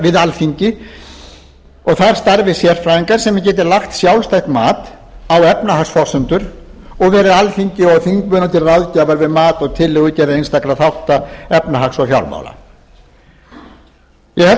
við alþingi og þar starfi sérfræðingar sem geti lagt sjálfstætt mat á efnahagsforsendur og verið alþingi og þingmönnum til ráðgjafar við mat og tillögugerð einstakra þátta efnahags og fjármála ég held